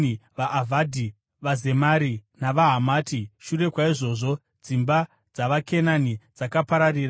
vaAvhadhi, vaZemari navaHamati. (Shure kwaizvozvo dzimba dzavaKenani dzakapararira,